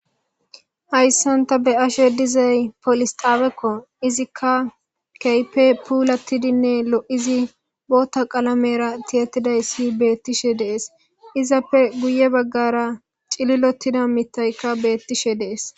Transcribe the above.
hayssanta be ashe dizay polis xaawekko izikka keype puulattidinne lo7izi bootta qalamera tiyattidayssi beettishe dees izappe guye baggara cililotida mitayka beettishe dees